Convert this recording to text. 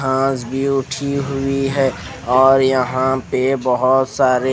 आज भी उठी हुई है और यह पर बोहोत सारी--